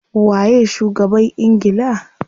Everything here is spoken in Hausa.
Waye shugaban ingila?